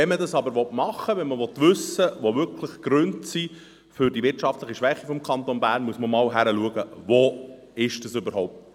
Wenn man dies aber umsetzen und wissen will, welches wirklich die Gründe für die wirtschaftliche Schwäche des Kantons sind, muss man hinschauen.